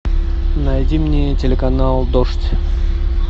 найди мне телеканал дождь